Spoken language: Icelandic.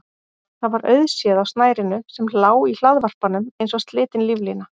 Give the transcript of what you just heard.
Það var auðséð á snærinu sem lá í hlaðvarpanum eins og slitin líflína.